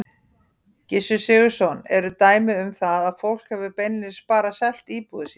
Gissur Sigurðsson: Eru dæmi um það að fólk hafi beinlínis bara selt íbúðir sínar?